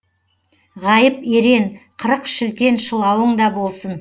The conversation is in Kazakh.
ғайып ерен қырық шілтен шылауың да болсын